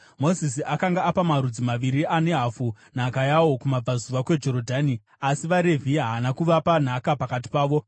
Mozisi akanga apa marudzi maviri ane hafu nhaka yawo kumabvazuva kweJorodhani; asi vaRevhi haana kuvapa nhaka pakati pavo,